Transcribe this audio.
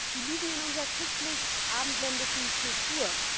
Die liegen in unserer christlich abendländischen Kultur.